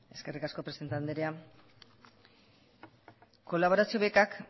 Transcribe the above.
eskerrik asko presidente andrea kolaborazio bekak